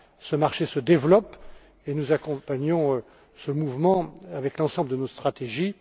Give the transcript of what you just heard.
Almunia. Ce marché se développe et nous accompagnons ce mouvement avec l'ensemble de nos stratégies.